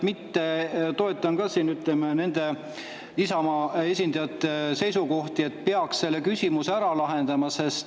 Ma toetan ka Isamaa esindajate seisukohti, et peaks selle küsimuse ära lahendama.